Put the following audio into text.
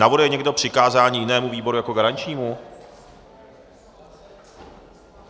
Navrhuje někdo přikázání jinému výboru jako garančnímu?